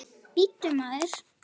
Bíddu, maður!